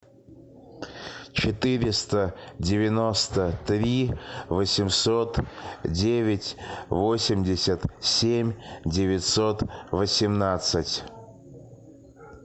четыреста девяносто три восемьсот девять восемьдесят семь девятьсот восемнадцать